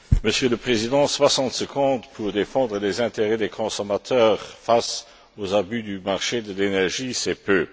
Monsieur le Président, soixante secondes pour défendre les intérêts des consommateurs face aux abus du marché de l'énergie, c'est peu.